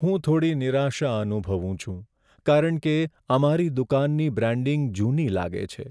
હું થોડી નિરાશા અનુભવું છું, કારણ કે અમારી દુકાનની બ્રાન્ડિંગ જૂની લાગે છે.